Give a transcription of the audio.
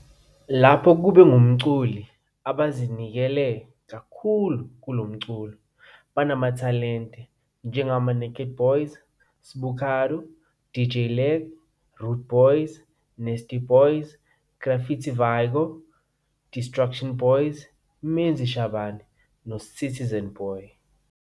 Lapho kube ngumculi abazinikele kakhulu kulo mculo banamathalente njengama Naked Boyz, Sbucardo, DJ Lag, Rudeboyz, Nasty Boyz, Griffit Vigo, Distruction Boyz, Menzi Shabane, noCitizen Boy.